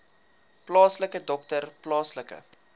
plaaslike dokter plaaslike